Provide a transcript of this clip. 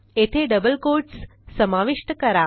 येथे double quotes समाविष्ट करा